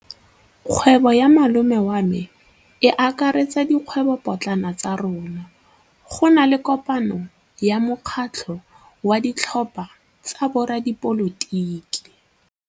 Kgwêbô ya malome wa me e akaretsa dikgwêbôpotlana tsa rona. Go na le kopanô ya mokgatlhô wa ditlhopha tsa boradipolotiki.